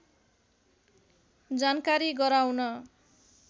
जानकारी गराउन